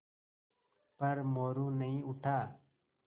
पर मोरू नहीं उठा